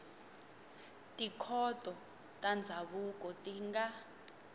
tikhoto ta ndzhavuko ti nga